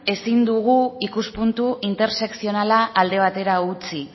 ezin dugu ikuspuntu intersekzionala alde batera utzi